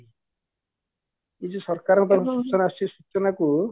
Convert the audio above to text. ଯଦି ସରକାରଙ୍କ ପାଖରୁ ସୂଚନା ଆସୁଚି